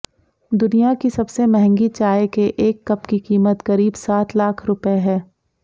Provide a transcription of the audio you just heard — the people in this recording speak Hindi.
दुनिया की सबसे मंहगी चाय के एक कप की कीमत करीब सात लाख रुपये है